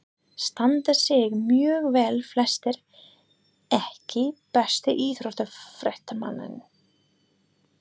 Standa sig mjög vel flestir EKKI besti íþróttafréttamaðurinn?